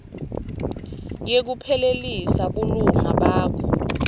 yekuphelisa bulunga bakho